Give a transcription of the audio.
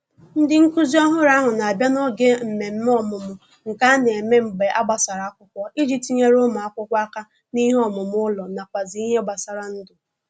Ndị nkụzi ọhụrụ ahụ na abịa n'oge mmemme ọmụmụ nke a na - eme mgbe a gbasara akwụkwọ iji tinyere ụmụ akwụkwọ aka n'ihe omume ụlọ nakwazi n'ihe gbasara ndụ